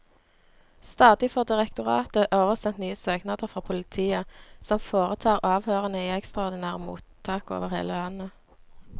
Stadig får direktoratet oversendt nye søknader fra politiet, som foretar avhørene i ekstraordinære mottak over hele landet.